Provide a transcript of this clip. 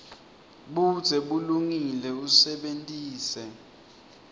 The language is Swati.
budze bulungile usebentise